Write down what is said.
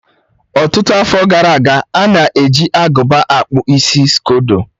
Ọtụtụ afọ gara aga, a na-eji agụba akpụ isi skodo.